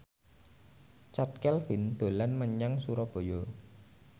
Chand Kelvin dolan menyang Surabaya